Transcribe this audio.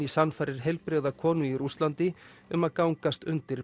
sannfærir heilbrigða konu í Rússlandi um að gangast undir